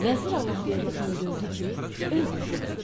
Vəzir Allahverdi Xan gördü ki, öz qızıdır.